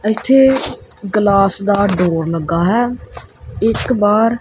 ਅ ਇੱਥੇ ਗਲਾਸ ਦਾ ਡੋਰ ਲੱਗਾ ਹੈ ਇੱਕ ਬਾਹਰ--